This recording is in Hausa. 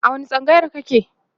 a wani tsangayar kake?